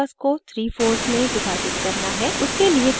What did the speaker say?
हमें canvas को 3 folds में विभाजित करना है